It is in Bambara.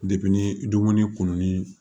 ni dumuni kununi